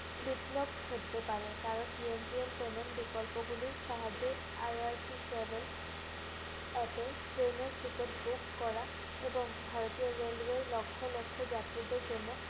বিপ্লব করতে পারে কারণ TNPA বিকল্পগুলির সাহায্যে IRC travel app এ train এর ticket book করা এবং ভারতীয় রেলওয়ে লক্ষ লক্ষ যাত্রীদের জন্য